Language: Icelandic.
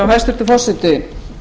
hæstvirtur forseti